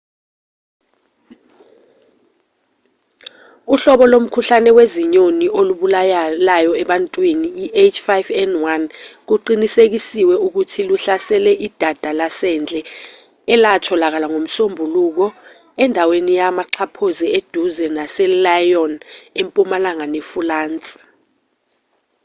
uhlobo lomkhuhlane wezinyoni olubulalayo ebantwini i-h5n1 kuqinisekisiwe ukuthi luhlasele idada lasendle elatholakala ngomsombuluko endaweni yamaxhaphozi eduze naselyon empumalanga nefulansi